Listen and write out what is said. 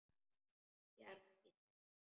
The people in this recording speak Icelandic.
Bjargi sér.